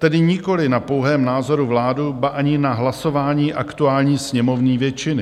Tedy nikoliv na pouhém názoru vlády, ba ani na hlasování aktuální sněmovní většiny.